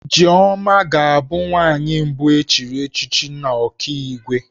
Ijeoma ga-abụ nwaanyị mbụ e chiri echichi n'Ọkigwe